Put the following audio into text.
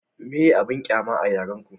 meye abun ƙyama a yaren ku?